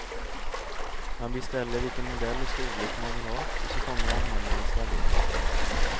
Man beställer vilken modell och storlek man vill ha, och så kommer han hem och installerar.